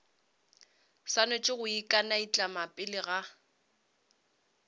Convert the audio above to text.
swanetše go ikanaitlama pele ga